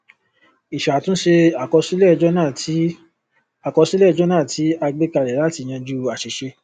ìṣàtúnṣe àkọsílẹ jọnà tí àkọsílẹ jọnà tí a gbékalẹ láti yanjú àṣìṣe